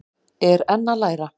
Er enn að læra